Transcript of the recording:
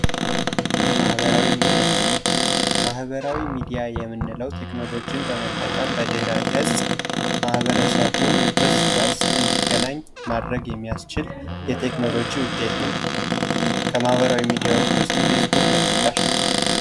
ማህበራዊ ሚዲያ:- ማህበራዊ ሚዲያ የምንለዉ ቴክኖሎችን በመጠቀም በድኅረ-ገፅ ማህበረሰቡን እርስ በርስ እንዲገናኝ ማድረግ የሚያስችል የቴክኖሎጅ ዉጤት ነዉ። ከማህበራዊ ሚዲያዎች ዉስጥ ፌስቡክ ተጠቃሽ ነዉ።